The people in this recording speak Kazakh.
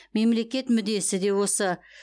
мемлекет мүддесі де осы